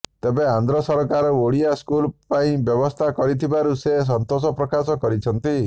ତେବେ ଆନ୍ଧ୍ର ସରକାର ଓଡ଼ିଆ ସ୍କୁଲ ପାଇଁ ବ୍ୟବସ୍ଥା କରିଥିବାରୁ ସେ ସନ୍ତୋଷ ପ୍ରକାଶ କରିଛନ୍ତି